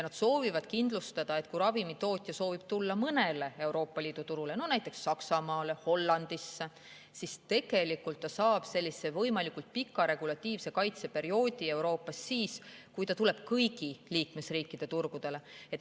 Nad soovivad, et kuigi ravimitootja võib soovida tulla vaid mõne Euroopa Liidu turule – näiteks Saksamaale, Hollandisse –, siis võimalikult pika regulatiivse kaitse perioodi Euroopas saaks ta siis, kui ta tuleb kõigi liikmesriikide turgudele.